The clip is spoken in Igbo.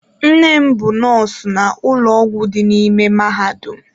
Nne m bụ nọọsụ na ụlọ ọgwụ dị n'ime mahadum.